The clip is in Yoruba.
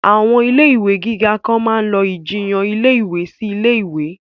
Àwọn ilé ìwé gíga kan máa lọ ìjiyàn ilé ìwé sí ilé ìwé